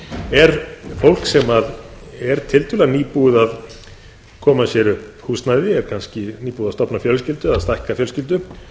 er fólk sem er tiltölulega nýbúið að koma sér upp húsnæði er nýbúið að stofna fjölskyldu eða stækka fjölskyldu